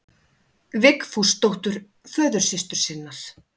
Vigfúsdóttur, föðursystur sinnar.